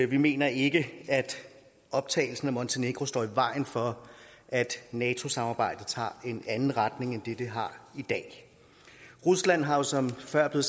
vi mener ikke at optagelsen af montenegro står i vejen for at nato samarbejdet tager en anden retning end den det har i dag rusland har jo som det før er